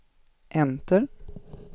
enter